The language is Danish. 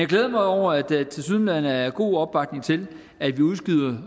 glæder mig over at der tilsyneladende er god opbakning til at vi udskyder